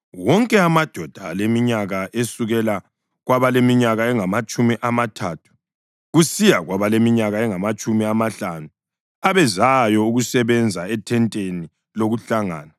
Wonke amadoda aleminyaka esukela kwabaleminyaka engamatshumi amathathu kusiya kwabaleminyaka engamatshumi amahlanu abezayo ukusebenza ethenteni lokuhlangana,